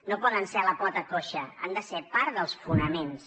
no poden ser la pota coixa han de ser part dels fonaments